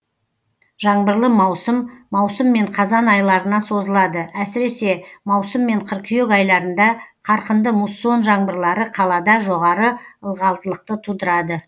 жаңбырлы маусым маусым мен қазан айларына созылады әсіресе маусым мен қыркүйек айларында қарқынды муссон жаңбырлары қалада жоғары ылғалдылықты тудырады